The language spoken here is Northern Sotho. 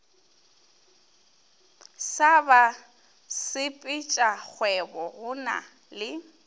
sa basepetšakgwebo go na le